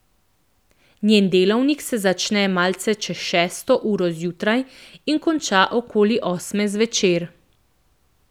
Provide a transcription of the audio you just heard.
Njen delavnik se začne malce čez šesto uro zjutraj in konča okoli osme zvečer.